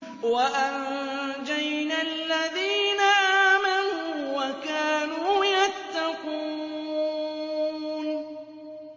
وَأَنجَيْنَا الَّذِينَ آمَنُوا وَكَانُوا يَتَّقُونَ